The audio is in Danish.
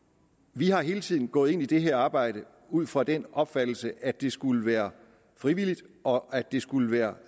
vi er hele tiden gået ind i det her arbejde ud fra den opfattelse at det skulle være frivilligt og at det skulle være